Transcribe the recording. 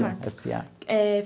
Komatsu eh.